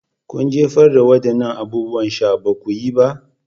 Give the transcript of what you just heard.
Kun jefar da waɗannan abubuwan sha. Ba ku yi ba?